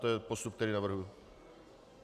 To je postup, který navrhuji.